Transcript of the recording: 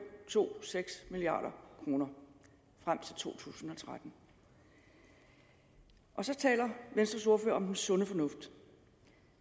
milliard kroner frem til to tusind og tretten og så taler venstres ordfører om den sunde fornuft